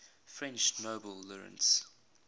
french nobel laureates